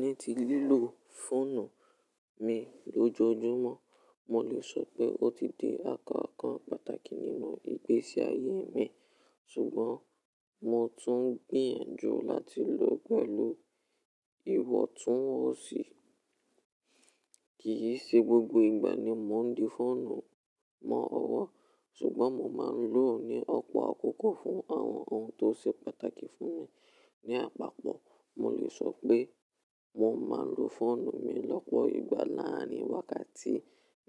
Ní ti lílò fóònù mi lójoojúmọ́, mo lè sọ pé ó ti di àkọ́kọ́ pàtàkì nínú ìgbésí ayé mi, ṣùgbọ́n mo tún ń gbìyànjú láti lò ó pẹ̀lú ìwọ̀ntúnwọ̀nsì. Kì í ṣe gbogbo ìgbà ni mo ń di fọ́ònù mọ́ ọwọ́, ṣùgbọ́n mo máa ń lò ó ní ọ̀pọ̀ àkókò fún àwọn ohun tó ṣe pàtàkì fún mi. Ni àpapọ̀, mo lè sọ pé mo máa ń lo fọ́ònù mi lọ́pọ̀ ìgbà láàárin wákàtí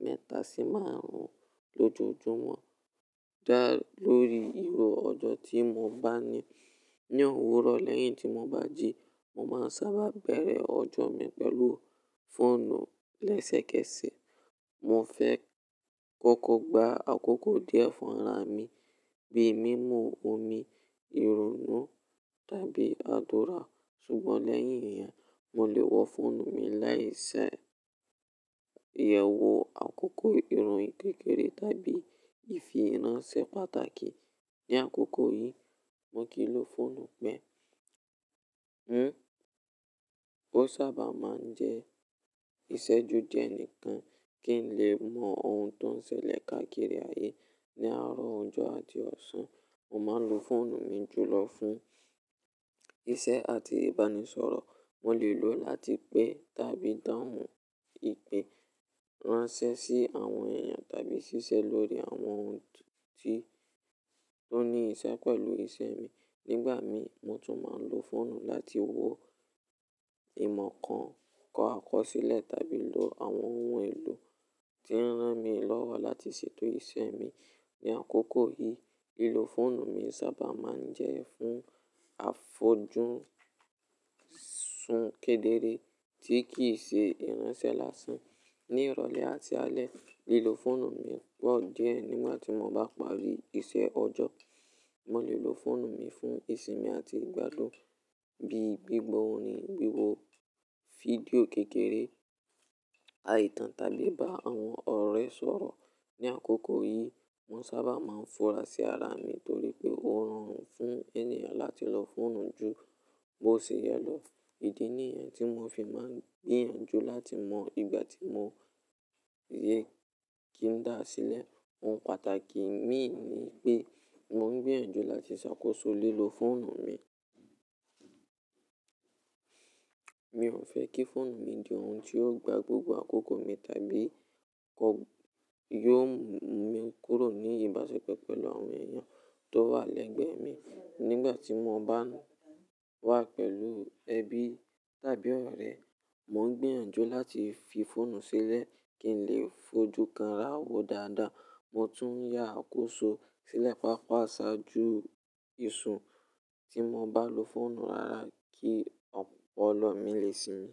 mẹ́ta sí márùn-ún lójoojúmọ́, dá lórí irú ọjọ́ tí mo bá ní. Ni òwúrọ̀ lẹ́yìn tí mo bá jí, mo máa ń sábà bẹ̀rẹ̀ ọjọ́ mi pẹ̀lú fọ́ònù lẹ́sẹ̀kẹsẹ̀. Mo fẹ́ kọ́kọ́ gba àkókò díẹ̀ fún ara mi, bí i mímu omi, ìrònnú tàbí àdúrà. Ṣùgbọ́n lẹ́yìn ìyẹn, mo lè wọ fọ́ònù mi láì ṣe ìyẹ̀wò àkókò, ìròyìn kékeré tàbí ìfi ránṣẹ́ pàtàkì. Ni àkókò yìí, mo kì í lo fọ́ònù pé ń. Ó sábà máa ń jẹ́ ìṣẹ́ju di ẹni kan kí n lè mọ ohun tó ń ṣẹlẹ̀ káàkiri ayé ní àárọ̀ ọjọ́ àti ọ̀sán. Mo máa ń lo fọ́ònù mi jùlọ fún iṣẹ́ àti ìbánisọ̀rọ̀. Mo lè lò ó láti pè tàbí dáhùn ìpè, ránṣẹ́ sí àwọn èèyàn tàbí ṣiṣẹ́ lórí àwọn ohun tó ní ìṣẹ́ pẹ̀lú iṣẹ́ mi. Nígbà mi, mo tún máa ń lo fọ́ònù láti wo ìmọ̀ kan, kọ́ àkọsílẹ̀ tàbí lo àwọn ohun èlò tí ń ràn mí lọ́wọ́ láti ṣètò iṣẹ́ mi. Ni àkókò yìí, ìlò fọ́ònù mi sábà máa ń jẹ́ fún àfojúúsunkédéré tí kì í ṣe ìránṣẹ́ lásán. Ni ìrọ̀lẹ́ àti alẹ́, ìlò fọ́ònù mi pọ̀ díẹ̀ nígbà tí mo bá parí iṣẹ́ ọjọ́. Mo lè lo fọ́ònù mi fún ìsinmi àti ìgbádùú, bíi gbígbọ́ orin, wíwo fídíò kékeré, àìtàn tàbí bá àwọn ọ̀rẹ́ sọ̀rọ̀. Ni àkókò yìí, mo sábà máa ń fura sí ara mi torí pé ó rọrùn fún ènìyàn láti lo fọ́ònù jù bó ṣe yẹ lọ. Ìdí nìyẹn tí mo fi máa ń gbìyànjú láti mọ ìgbà tí mo yẹ kí ń dá a sílẹ̀. Ohun pàtàkì mí ní pé mo ń gbìyànjú láti ṣàkóso lílo fọ́ònù mi. Mi ò fẹ́ kí fọ́ònù mi di ohun tí yóò gba gbogbo àkókò mi tàbí yóò mú mi kúrò ní ìbáṣepọ̀ pẹ̀lú àwọn èèyàn tó wà lẹ́gbẹ̀ẹ́ mi. Nígbà tí mo bá wà pẹ̀lú ẹbí tàbí ọ̀rẹ́, mo ń gbìyànjú láti fi fọ́ònù sílẹ̀ kí n lè fojú kanra wo dáadáa. Mo tún yá àkóso sílẹ̀ papọ̀ ṣáájú iṣu tí mo bá lo fọ́ònù rara kí ọ̀pọ̀lọ́ mi lè sinmi.